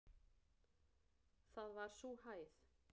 Það var sú hæð.